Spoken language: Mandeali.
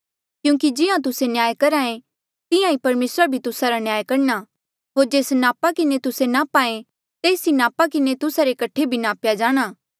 क्यूंकि जिहां तुस्से न्याय करहे तिहां ईं परमेसरा भी तुस्सा रा न्याय करणा होर जेस नापा किन्हें तुस्से नाप्हा ऐें तेस ई नापा किन्हें तुस्सा रे कठे भी नाप्या जाणा